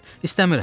İstəmirəm.